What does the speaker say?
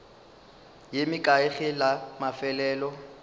ye mekae ge la mafelelo